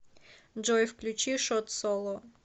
джой включи шот соло